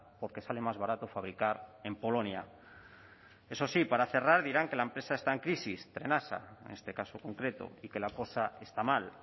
porque sale más barato fabricar en polonia eso sí para cerrar dirán que la empresa está en crisis trenasa en este caso concreto y que la cosa está mal